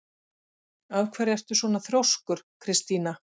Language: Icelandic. Af hverju ertu svona þrjóskur, Kristína?